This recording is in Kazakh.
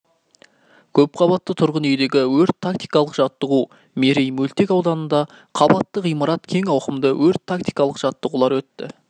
көп қабатты тұрғын үйдегі өрт-тактикалық жаттығу мерей мөлтек ауданында қабатты ғимарат кең ауқымды өрт-тактикалық жаттығулар өтті